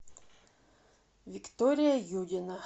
виктория юдина